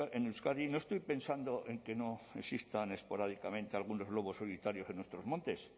en euskadi no estoy pensando en que no existan esporádicamente algunos lobos solitarios en nuestros montes